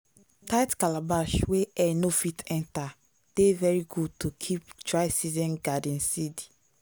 tight calabash wey air no fit enter dey very good to keep dry season garden seed.